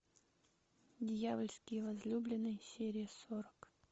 дьявольские возлюбленные серия сорок